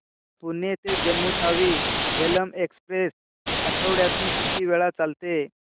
पुणे ते जम्मू तावी झेलम एक्स्प्रेस आठवड्यातून किती वेळा चालते